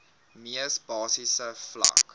mees basiese vlak